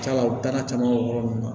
C'ala u dana caman bɛ yɔrɔ min na